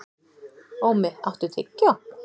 Ómi, áttu tyggjó?